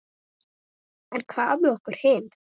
En hvað með okkur hin?